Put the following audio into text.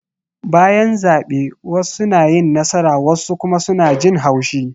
Bayan zabe wassu na yin nasara wassu kuma suna jin haushi